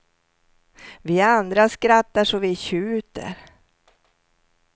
Vi andra skrattar så vi tjuter.